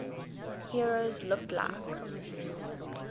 heroes looked like